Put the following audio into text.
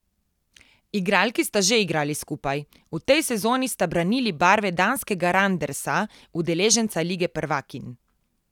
Igralki sta že igrali skupaj, v tej sezoni sta branili barve danskega Randersa, udeleženca lige prvakinj.